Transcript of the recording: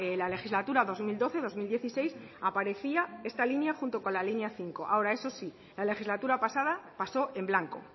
la legislatura dos mil doce dos mil dieciséis aparecía esta línea junto con la línea cinco ahora eso sí la legislatura pasada pasó en blanco